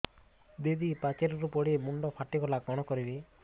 ଦିଦି ପାଚେରୀରୁ ପଡି ମୁଣ୍ଡ ଫାଟିଗଲା କଣ କରିବି